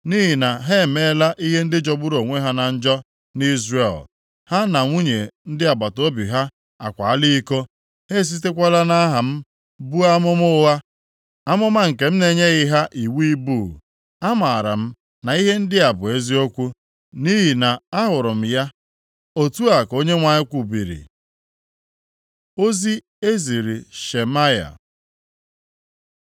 Nʼihi na ha emeela ihe ndị jọgburu onwe ya na njọ nʼIzrel; ha na nwunye ndị agbataobi ha akwaala iko; ha esitekwala nʼaha m buo amụma ụgha, amụma nke m na-enyeghị ha iwu ibu. Amaara m na ihe ndị a bụ eziokwu, nʼihi na ahụrụ m ya.” Otu a ka Onyenwe anyị kwubiri. Ozi e ziri Shemaya